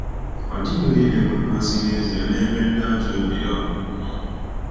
Ọ dịghị onye na-enwe mmasị n’ezie n’ebe ndị ajọ obiọ nọ.